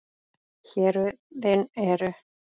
Héruðin eru